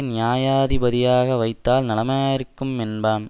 நியாயாதிபதியாக வைத்தால் நலமாயிருக்கும் என்பான்